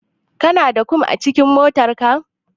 Kana da kum a cikin motarka?